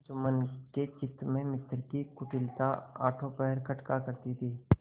जुम्मन के चित्त में मित्र की कुटिलता आठों पहर खटका करती थी